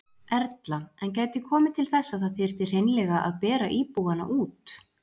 Erla: En gæti komið til þess að það þyrfti hreinlega að bera íbúana út?